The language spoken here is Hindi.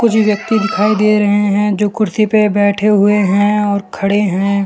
जो व्यक्ति दिखाई दे रहे हैं जो कुर्सी पे बैठे हुए हैं और खड़े हैं।